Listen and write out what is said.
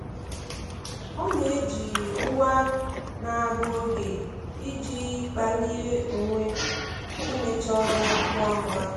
Ọ na-eji ngwa na-agụ oge iji kpalie onwe imecha ọrụ ngwa ngwa.